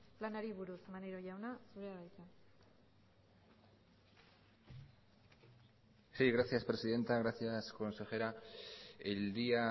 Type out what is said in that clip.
planari buruz maneiro jauna zurea da hitza sí gracias presidenta gracias consejera el día